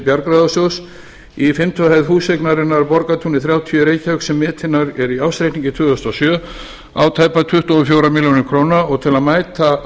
bjargráðasjóðs í fimmtu hæð húseignarinnar borgartúni þrjátíu í reykjavík sem metin er í ársreikningi tvö þúsund og sjö á tæpar tuttugu og fjórar milljónir króna og til að mæta